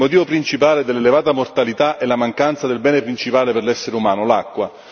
Il motivo principale dell'elevata mortalità è la mancanza del bene principale per l'essere umano l'acqua.